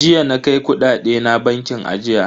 Jiya na kai kudade na bankin ajiya.